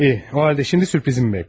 Yaxşı, o halda indi sürprizimi gözlə.